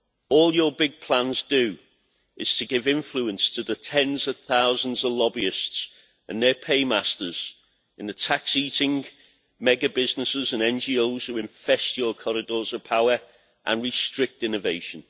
All your big plans do is give influence to the tens of thousands of lobbyists and their paymasters in tax eating mega businesses and NGOs which infest your corridors of power and restrict innovation.